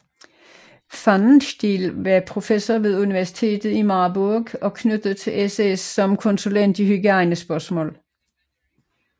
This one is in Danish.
Pfannenstiel var professor ved universitet i Marburg og knyttet til SS som konsulent i hygiejnespørgsmål